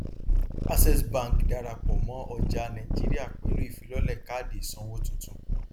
access bank darapọ mọ ọjà nàìjíríà pẹlú ìfilọlẹ káàdì ìsanwó tuntun